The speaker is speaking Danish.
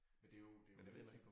Men det jo det jo litium